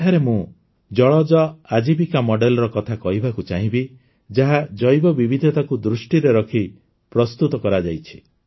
ଏଠାରେ ମୁଁ ଜଳଜ ଆଜୀବିକା ମଡେଲ୍ର କଥା କହିବାକୁ ଚାହିଁବି ଯାହା ଜୈବ ବିବିଧତାକୁ ଦୃଷ୍ଟିରେ ରଖି ପ୍ରସ୍ତୁତ କରାଯାଇଛି